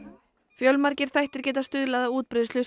fjölmargir þættir geta stuðlað að útbreiðslu